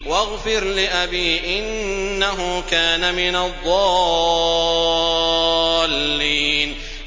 وَاغْفِرْ لِأَبِي إِنَّهُ كَانَ مِنَ الضَّالِّينَ